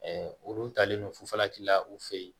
olu talen don fufalakila u fe yen